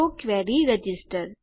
તો query register